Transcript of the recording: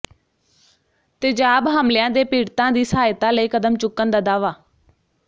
ਤੇਜ਼ਾਬ ਹਮਲਿਆਂ ਦੇ ਪੀੜਤਾਂ ਦੀ ਸਹਾਇਤਾ ਲਈ ਕਦਮ ਚੁੱਕਣ ਦਾ ਦਾਅਵਾ